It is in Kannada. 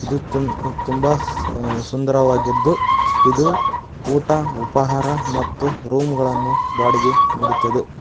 ಇದು ತುಂ-ತುಂಬಾ ಸ-ಅ- ಸುಂದರವಾಗಿದ್ದು ಇದು ಊಟ ಉಪಹಾರ ಮತ್ತು ರೂಮ್ ಗಳನ್ನು ಬಾಡಿಗೆ ನೀಡುತ್ತದೆ.